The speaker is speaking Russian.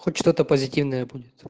хоть что-то позитивное будет